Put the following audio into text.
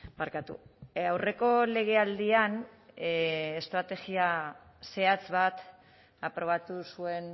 barkatu aurreko legealdian estrategia zehatz bat aprobatu zuen